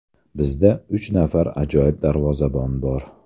Bizda uch nafar ajoyib darvozabon bor.